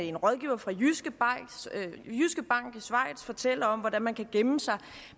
en rådgiver fra jyske bank i schweiz fortælle om hvordan man kan gemme sig